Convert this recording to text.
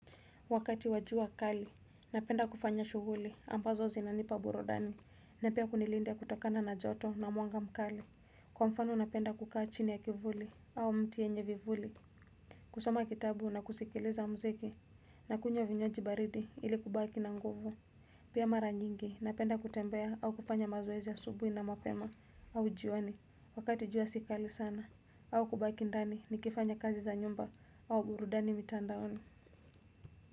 Wakati wa jua kali, napenda kufanya shughuli ambazo zinanipa burudani na pia kunilinda kutokana na joto na mwanga mkali Kwa mfano napenda kukaa chini ya kivuli au mti yenye vivuli kusoma kitabu na kusikiliza mziki na kunywa vinywaji baridi ili kubaki na nguvu Pia mara nyingi, napenda kutembea au kufanya mazoezi ya asubuhi na mapema au jioni Wakati jua si kali sana au kubaki ndani nikifanya kazi za nyumba au burudani mitandaoni.